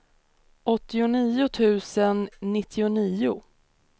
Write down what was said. åttionio tusen nittionio